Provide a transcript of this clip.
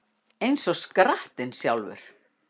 Eins og skrattinn sjálfur